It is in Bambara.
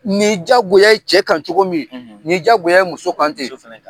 Ni yi jagoya ye cɛ kan cogo min , ni yi jagoya ye muso kan ten .